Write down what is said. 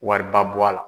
Wariba bɔ a la